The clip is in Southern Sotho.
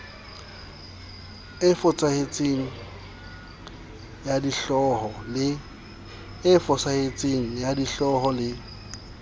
e fosahetseng ya dihlooho le